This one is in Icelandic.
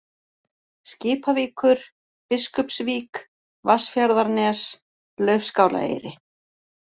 Skipavíkur, Biskupsvík, Vatnsfjarðarnes, Laufskálaeyri